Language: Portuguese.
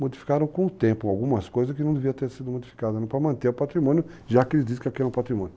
Modificaram com o tempo algumas coisas que não deviam ter sido modificadas para manter o patrimônio, já que eles dizem que aqui é um patrimônio.